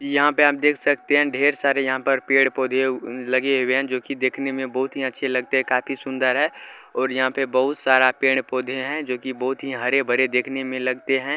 यहां पर आप देख सकते हैं ढेर सारे यहां पर पेड़-पौधा लगे हुए है जो की देखने में बहुत ही अच्छे लगते है काफी सुंदर है और यहां पर बहुत सारा पेड़-पौधे है जो की बहुत ही हरे-भरे देखने में लगते है ।